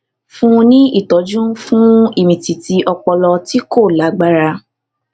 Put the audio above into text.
fún un ní ìtọjú fún ìmìtìtì ọpọlọ tí kò lágbára